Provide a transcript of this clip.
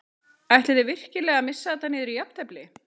Ætlið þið virkilega að missa þetta niður í jafntefli?